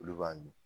Olu b'a mi